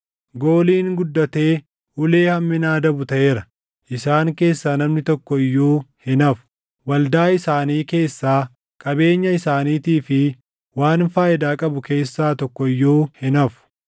Gooliin guddatee ulee hammina adabu taʼeera; isaan keessaa namni tokko iyyuu hin hafu; waldaa isaanii keessaa, qabeenya isaaniitii fi waan faayidaa qabu keessaa tokko iyyuu hin hafu.